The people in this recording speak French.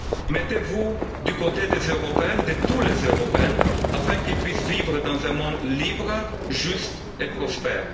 Mettez vous du côté des Européens de tous les Européens afin qu'ils puissent vivre dans un monde libre, juste et prospère.